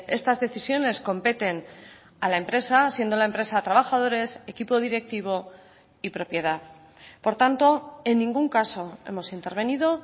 estas decisiones competen a la empresa siendo la empresa trabajadores equipo directivo y propiedad por tanto en ningún caso hemos intervenido